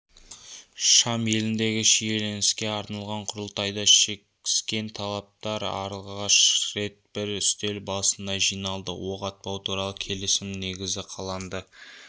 шам еліндегі шиеленіске арналған құрылтайда шекіскен тараптар алғаш рет бір үстел басына жиналды оқ атпау туралы келісімнің негізі қаланды